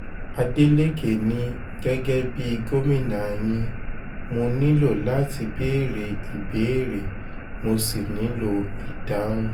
adeleke ní gẹ́gẹ́ bíi gómìnà yín mo nílò láti béèrè ìbéèrè mo sì nílò ìdáhùn